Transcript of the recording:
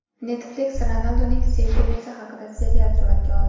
Netflix Ronalduning sevgilisi haqida serial suratga oldi.